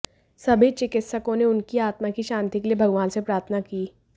सभी चिकित्सकों ने उनकी आत्मा की शांति के लिए भगवान से प्रार्थना की